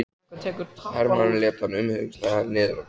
Hermaðurinn lét hann umhyggjusamlega niður á gólfið.